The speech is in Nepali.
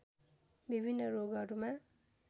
विभिन्न रोगहरूमा